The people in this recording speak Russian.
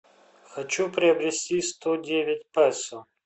хочу приобрести сто девять песо